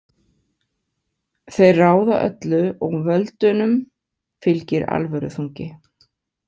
Þeir ráða öllu og völdunum fylgir alvöruþungi.